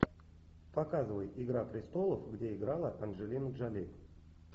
показывай игра престолов где играла анджелина джоли